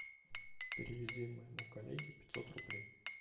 переведи моему коллеге пятьсот рублей